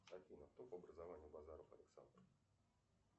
афина кто по образованию базаров александр